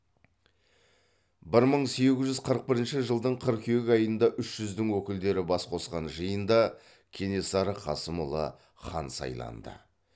бір мың сегіз жүз қырық бірінші жылдың қыркүйек айында үш жүздің өкілдері бас қосқан жиында кенесары қасымұлы хан сайланды